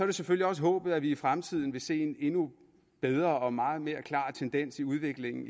det selvfølgelig også håbet at vi i fremtiden vil se en endnu bedre og meget mere klar tendens i udviklingen